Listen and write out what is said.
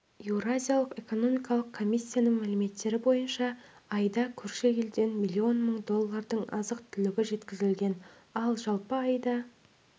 еуразиялық экономикалық комиссияның мәліметтері бойынша айда көрші елден миллион мың доллардың азық-түлігі жеткізілген ал жалпы айда